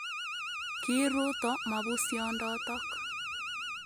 Kiiruto mabusiondotok